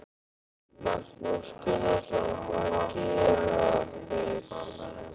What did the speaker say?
Magnús Gunnarsson: Hvað gera þeir?